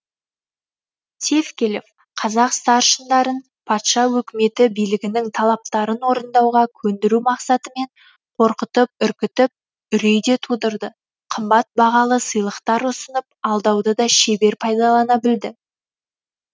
тевкелев қазақ старшындарын патша өкіметі билігінің талаптарын орындауға көндіру мақсатымен қорқытып үркітіп үрей де тудырды қымбат бағалы сыйлықтар ұсынып алдауды да шебер пайдалана білді